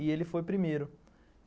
E ele foi primeiro.